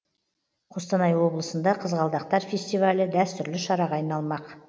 қостанай облысында қызғалдақтар фестивалі дәстүрлі шараға айналмақ